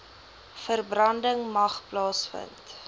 verbranding mag plaasvind